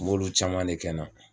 M'olu caman de kɛ n na.